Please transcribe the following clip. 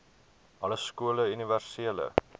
alle skole universele